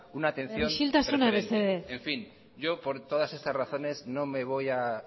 una atención preferente isiltasuna mesedez en fin yo por todas estas razones no me voy a